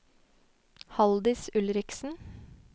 Halldis Ulriksen